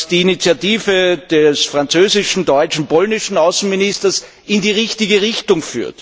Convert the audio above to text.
Die Initiative des französischen, deutschen und polnischen Außenministers führt in die richtige Richtung.